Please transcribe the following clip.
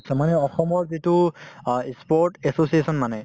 নিশ্চয় মানে অসমত যিটো অ ই sport association মানে